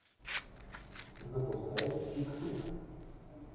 запускай чик флик